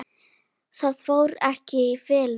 Það fór ekki í felur.